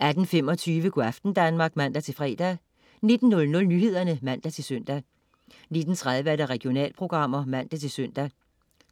18.25 Go' aften Danmark (man-fre) 19.00 Nyhederne (man-søn) 19.30 Regionalprogram (man-søn)